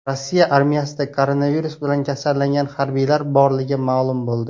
Rossiya armiyasida koronavirus bilan kasallangan harbiylar borligi ma’lum bo‘ldi.